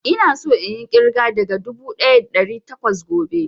Ina so inyi ƙirga daga dubu ɗaya da ɗari takwas gobe